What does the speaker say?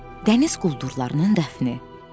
Dəniz quldurlarının dəfni.